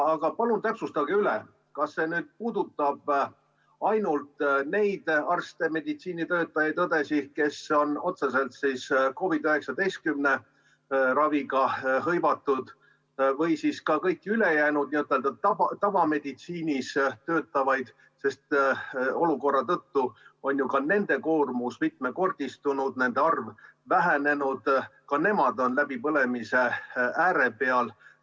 Aga palun täpsustage, kas see puudutab ainult neid arste, meditsiinitöötajaid, õdesid, kes on otseselt COVID‑19 raviga hõivatud, või ka kõiki ülejäänuid, tavameditsiinis töötajaid, sest olukorra tõttu on ju ka nende koormus mitmekordistunud, nende arv on vähenenud ja ka nemad on läbipõlemise ääre peal.